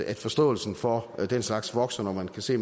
at forståelsen for den slags vokser når man kan se